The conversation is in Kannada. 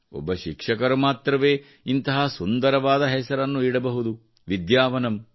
ಒಬ್ಬ ಶಿಕ್ಷಕರು ಮಾತ್ರವೇ ಇಂತಹ ಸುಂದರವಾದ ಹೆಸರನ್ನು ಇಡಬಹುದು ವಿದ್ಯಾವನಂ